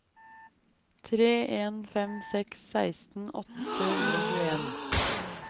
tre en fem seks seksten åtte hundre og tjueen